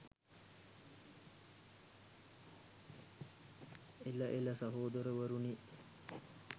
එළ එළ සහෝදරවරුනි